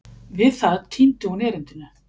Við það týndi hún erindinu.